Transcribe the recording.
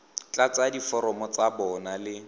tlatsa diforomo tsa bona le